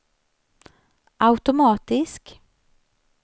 automatisk